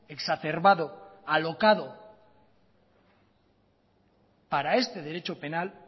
exacerbado y alocado para este derecho penal